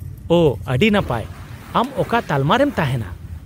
-ᱳᱺ ,ᱟᱹᱰᱤ ᱱᱟᱯᱟᱭ ! ᱟᱢ ᱚᱠᱟ ᱛᱟᱞᱢᱟ ᱨᱮᱢ ᱛᱟᱦᱮᱸᱱᱟ ?